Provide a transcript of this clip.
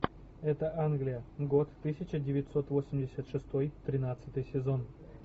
это англия год тысяча девятьсот восемьдесят шестой тринадцатый сезон